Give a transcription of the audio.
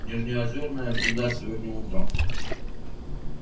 нижнеозёрная взята сегодня утром